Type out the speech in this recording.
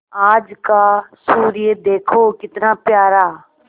आज का सूर्य देखो कितना प्यारा